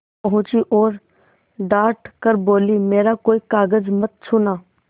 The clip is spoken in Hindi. पहुँची और डॉँट कर बोलीमेरा कोई कागज मत छूना